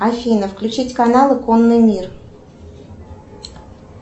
афина включить каналы конный мир